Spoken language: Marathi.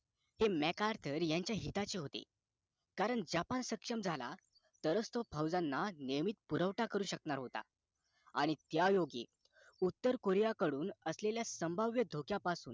megadol यांच्या हिताचे होते कारण japan सक्षम झाला तरच तो फौजांना नियमित पुरवठा करू शकला होता आणि त्या योगी उत्तर koriyaकडून असलेल्या संभाव्य धोक्यापासून